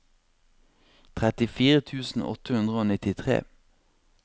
trettifire tusen åtte hundre og nittitre